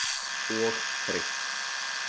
Og þreytt.